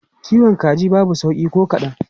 Kiwon kaji babu sauƙi ko kadan.